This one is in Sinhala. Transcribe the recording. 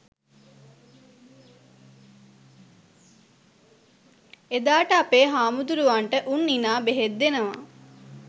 එදාට අපේ හාමුදුරුවරුන්ට උන් ඉනා බෙහෙත් දෙනවා